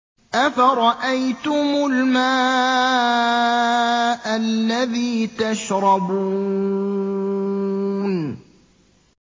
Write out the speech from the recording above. أَفَرَأَيْتُمُ الْمَاءَ الَّذِي تَشْرَبُونَ